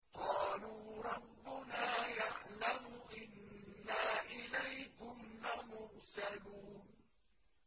قَالُوا رَبُّنَا يَعْلَمُ إِنَّا إِلَيْكُمْ لَمُرْسَلُونَ